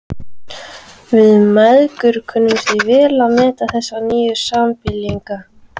Við mæðgur kunnum því vel að meta þessa nýju sambýlinga.